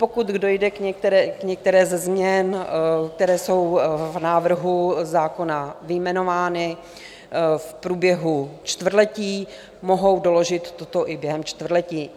Pokud dojde k některé ze změn, které jsou v návrhu zákona vyjmenovány, v průběhu čtvrtletí, mohou doložit toto i během čtvrtletí.